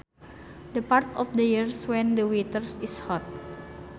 The part of the year when the weather is hot